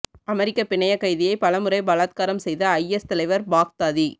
அமெரிக்க பிணையக் கைதியை பலமுறை பலாத்காரம் செய்த ஐஎஸ் தலைவர் பாக்தாதி